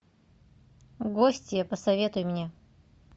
гостья посоветуй мне